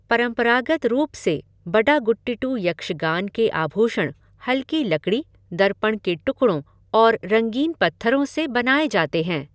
परंपरागत रूप से बडागुटिट्टु यक्षगान के आभूषण हल्की लकड़ी, दर्पण के टुकड़ों और रंगीन पत्थरों से बनाए जाते हैं।